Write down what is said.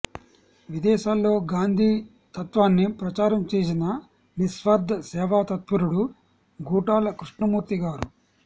విదేశాల్లో గాంధీ తత్త్వాన్ని ప్రచారం చేసిన నిస్వార్థ సేవాతత్పరుడు గూటాల కృష్ణమూర్తిగారు